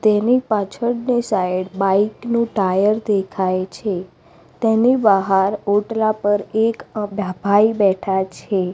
તેની પાછળની side bike નું ટાયર દેખાય છે તેની બહાર ઓટલા પર એક ભે ભા ભાઈ બેઠા છે.